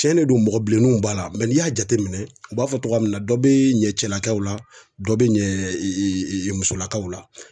Tiɲɛ de don mɔgɔ bilenninw b'a la n'i y'a jateminɛ u b'a fɔ togoya min na dɔ be ɲɛ cɛlakaw la dɔ be ɲɛ musolakaw la.